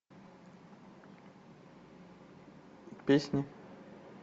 песни